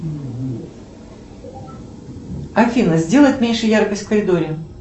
афина сделать меньше яркость в коридоре